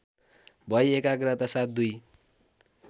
भई एकाग्रतासाथ दुई